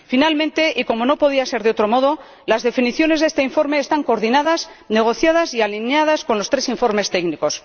Por último, y como no podía ser de otro modo, las definiciones de este informe están coordinadas, negociadas y alineadas con los tres informes técnicos.